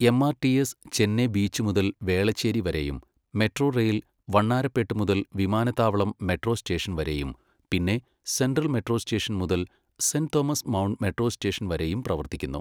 MRTS Chennai beach മുതൽ വേളച്ചേരി വരെയും metro rail Vannarapet മുതൽ വിമാനത്താവളം മെട്രോ സ്റ്റേഷൻവരെയും, പിന്നെ സെൻട്രൽ മെട്രോ സ്റ്റേഷൻ മുതൽ Saint Thomas Mount metro station വരെയും പ്രവർത്തിക്കുന്നു.